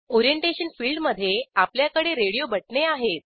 orientation फिल्डमधे आपल्याकडे radio बटणे आहेत